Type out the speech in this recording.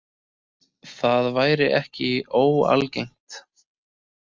Það væri ekki óalgengt